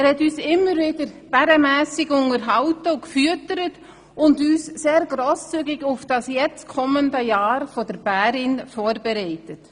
Er hat uns immer wieder bärenmässig unterhalten und gefüttert, und uns sehr grosszügig auf das nun kommende Jahr der Bärin vorbereitet.